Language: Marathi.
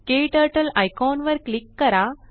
क्टर्टल आयकॉन वर क्लिक करा